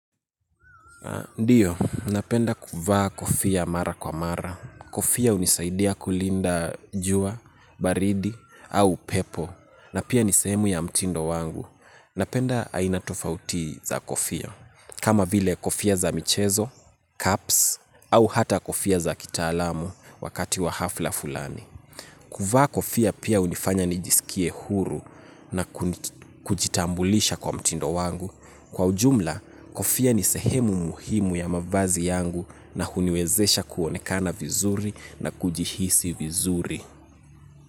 Ndiyo, napenda kuvaa kofia mara kwa mara. Kofia hunisaidia kulinda jua, baridi, au upepo. Na pia ni sehemu ya mtindo wangu. Napenda aina tofauti za kofia. Kama vile kofia za michezo, caps, au hata kofia za kitaalamu wakati wa hafla fulani. Kuvaa kofia pia hunifanya nijisikie huru na kujitambulisha kwa mtindo wangu. Kwa ujumla, kofia ni sehemu muhimu ya mavazi yangu na huniwezesha kuonekana vizuri na kujihisi vizuri.